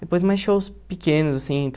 Depois mais shows pequenos, assim.